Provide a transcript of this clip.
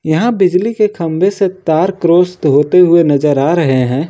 यहां बिजली के खंभे से तार क्रॉस तो होते हुए नजर आ रहे हैं।